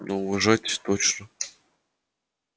но уважать точно